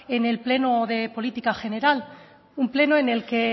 en el pleno de política general un pleno en el que